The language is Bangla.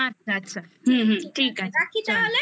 আচ্ছা আচ্ছা আচ্ছা হুম হুম ঠিক আছে